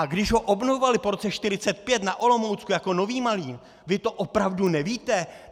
A když ho obnovovali po roce 1945 na Olomoucku jako Nový Malín, vy to opravdu nevíte?!